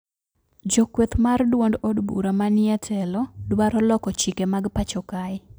Jokweth mar duond od bura ma ni e telo dwaro loko chike mag pacho kae